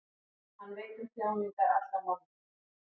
hann veit um þjáningar allra manna